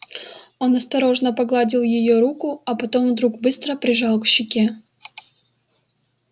он осторожно погладил её руку а потом вдруг быстро прижал к щеке